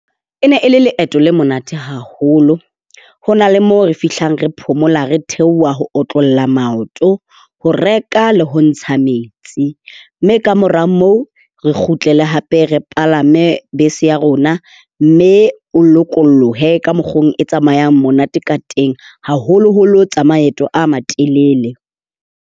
E ne e le leeto le monate haholo. Ho na le mo re fihlang re phomola, re theoha ho otlolla maoto, ho reka le ho ntsha metsi. Mme kamora moo re kgutlele hape re palame bese ya rona mme o lokolohe ka mokgo e tsamayang monate ka teng, haholoholo tsa maeto a matelele.